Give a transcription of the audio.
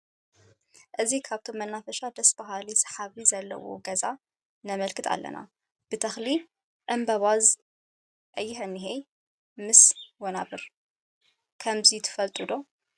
እዚ ካብቶም መናፈሻ ደስ በሃሊ ሰሓቢ ዘለዎ ገዛ ነምልከት ኣለና። ብ ተክሊ ዕንበባ ዝተከበበ ምስ ሊላ ሕብሪ ብ ቀይሕ እኒሀ ምስ ወናብር ።ከምዚ ትፈለጡ ዶ?